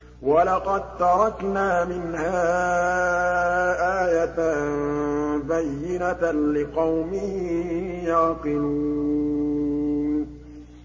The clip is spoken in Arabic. وَلَقَد تَّرَكْنَا مِنْهَا آيَةً بَيِّنَةً لِّقَوْمٍ يَعْقِلُونَ